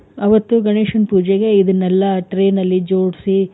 ಅವತ್ತು ಗಣೇಶನ್ ಪೂಜೆಗೆ ಇದನ್ನೆಲ್ಲ tray ನಲ್ಲಿ ಜೋಡ್ಸಿ,